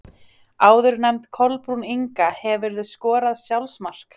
Áðurnefnd Kolbrún Inga Hefurðu skorað sjálfsmark?